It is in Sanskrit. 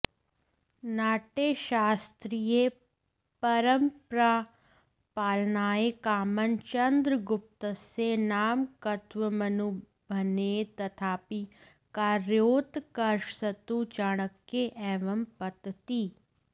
नाट्यशास्त्रीयपरम्परापालनाये कामं चन्द्रगुप्तस्य नामकत्वमनुभन्येत तथापि कार्योत्कर्षस्तु चाणक्ये एवं पतति